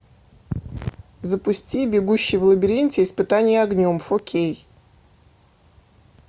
запусти бегущий в лабиринте испытание огнем фо кей